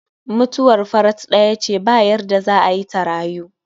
mutuwar farat ɗaya ce ba yarda za'a yi ta rayu